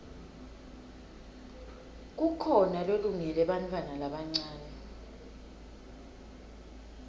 kukhona lolungele bantfwana labancane